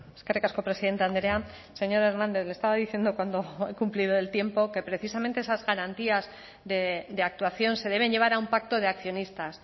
eskerrik asko presidente andrea señor hernández le estaba diciendo cuando he cumplido el tiempo que precisamente esas garantías de actuación se deben llevar a un pacto de accionistas